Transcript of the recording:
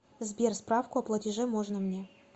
сбер справку о платеже можно мне